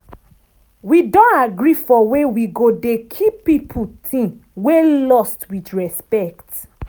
wi don agree for way wi go dey keep people ting wey lost wit respect.